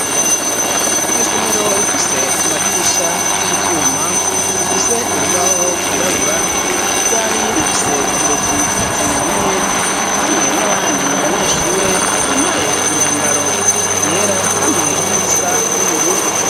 Iryo somero rifise amadirisha y'ivyuma, rifise urubaho rwirabura, ryari rifise umurezikazi umwe hamwe n'abandi banyeshure bambaye imyambaro yera hamwe n'iyisa n'ubururu.